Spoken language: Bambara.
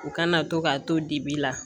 U kana to ka to dibi la